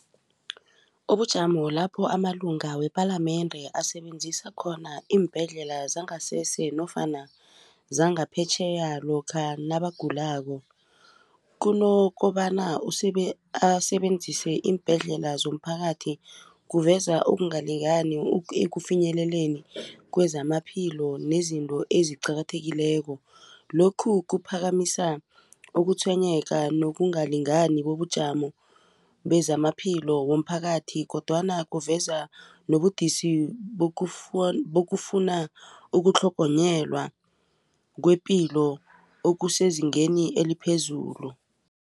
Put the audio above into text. Ubujamo lapho amalunga wepalamende asebenzisa khona iimbhedlela zangasese nofana zangaphetjheya lokha nabagulako kunokobana asebenzise iimbhedlela zomphakathi kuveza ukungalingani ekufinyeleleni kwezamaphilo nezinto eziqakathekileko lokhu kuphakamisa ukutshwenyeka nokungalingani bobujamo bezamaphilo womphakathi kodwana kuveza nobudisi bokufuna ukutlhogonyelwa kwepilo okusezingeni eliphezulu.